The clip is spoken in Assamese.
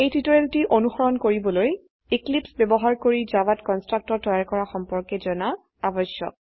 এই টিউটোৰিয়ালটো অনুসৰন কৰিবলৈ এক্লীপ্স ব্যবহাৰ কৰি জাভাত কন্সট্ৰকটৰ তৈয়াৰ কৰা সম্পৰ্কে জানা আবশ্যক